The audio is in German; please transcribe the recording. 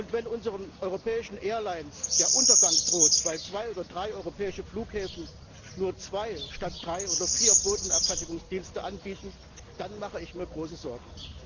Wenn unseren europäischen Fluggesellschaften der Untergang droht, weil zwei oder drei europäische Flughäfen nur zwei statt drei oder vier Bodenabfertigungsdiensten anbieten, dann mache ich mir große Sorgen.